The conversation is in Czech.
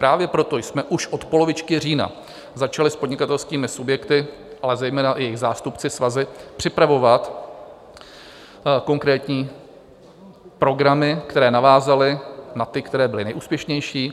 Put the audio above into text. Právě proto jsme už od polovičky října začali s podnikatelskými subjekty, ale zejména s jejich zástupci, svazy, připravovat konkrétní programy, které navázaly na ty, které byly nejúspěšnější.